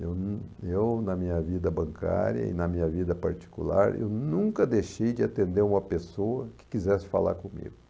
Eu num, eu na minha vida bancária e na minha vida particular, eu nunca deixei de atender uma pessoa que quisesse falar comigo.